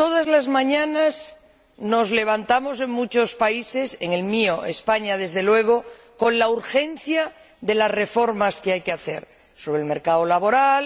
Todas las mañanas nos levantamos en muchos países, en el mío, España, desde luego, con la urgencia de las reformas que hay que llevar a cabo en el mercado laboral,